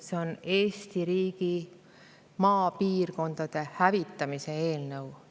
See on Eesti riigi maapiirkondade hävitamise eelnõu.